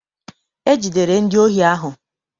E jidere ndi ohi ahụ.